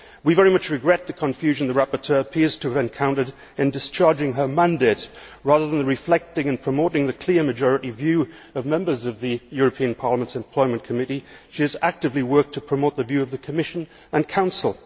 We very much regret the confusion the rapporteur appears to have encountered in discharging her mandate. Rather than reflecting and promoting the clear majority views of members of the European Parliament's Employment Committee, she has actively worked to promote the view of the Commission and Council.